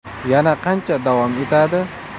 Yana qancha davom etadi?